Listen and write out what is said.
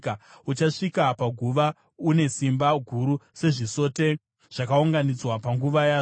Uchasvika paguva une simba guru, sezvisote zvakaunganidzwa panguva yazvo.